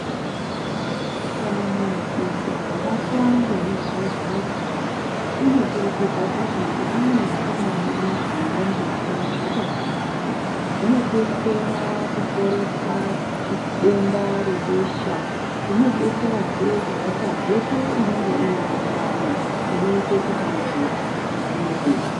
Kana muntu akabatwa ngemuzwazwazwa unokurudzira kuti amwe tsangamidzi nendimu zvakakumana zvinodetsera kuporesa denda rebesha zvinodetserazve kubvise mhepo inonga irimundani inoite kuti munhu afufutirwe.